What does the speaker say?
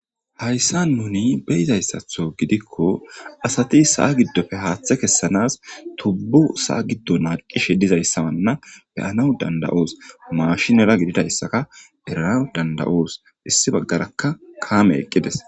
Hayssa nuni beyizayssatho gidikko asati sa7a giddofe haaththe kessanas tubbu saa giddo naaqishe dizayssananna beyanaw danda7os mashinera gididayssaka erana danda7oos issi baggarakka kaame eqqides